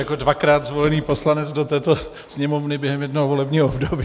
Jako dvakrát zvolený poslanec do této Sněmovny během jednoho volebního období.